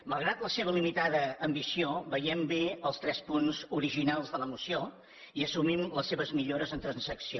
malgrat la seva limitada ambició veiem bé els tres punts originals de la moció i assumim les seves millores en transacció